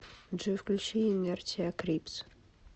джой включи инертиа крипс